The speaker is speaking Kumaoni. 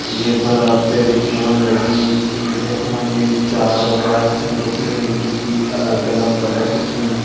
ये पर आपते दिखेणु लगी की यख मजी चार बाइक छन रखीं जु की अलग अलग कलर की छन।